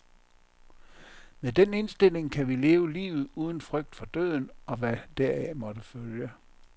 Med den indstilling kan vi leve livet uden frygt for døden og hvad deraf måtte følge.